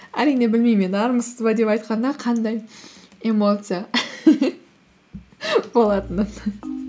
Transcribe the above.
әрине білмеймін мен армысыз ба деп айтқаннан қандай эмоция болатынын